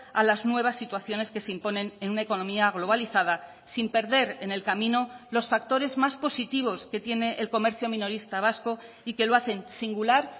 a las nuevas situaciones que se imponen en una economía globalizada sin perder en el camino los factores más positivos que tiene el comercio minorista vasco y que lo hacen singular